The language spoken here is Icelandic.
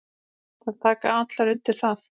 Þær taka allar undir það.